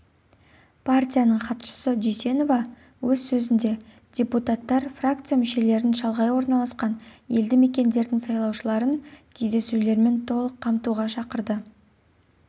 партияның хатшысы дүйсенова өз сөзінде депутаттар фракция мүшелерін шалғай орналасқан елді мекендердің сайлаушыларын кездесулермен толық қамтуға шақырды